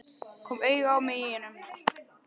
Kom auga á mig í honum.